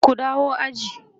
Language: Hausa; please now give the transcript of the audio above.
ku dawo aji!